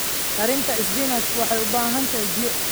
Karinta isbinaajku waxay u baahan tahay biyo.